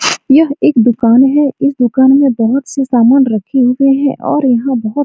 यह एक दुकान है इस दुकान में बहुत से समान रखे हुए हैं और यहाँ बहुत --